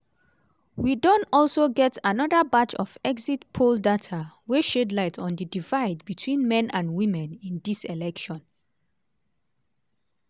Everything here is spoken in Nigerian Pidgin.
we don also get anoda batch of exit poll data wey shed light on di divide between men and women in tdis election.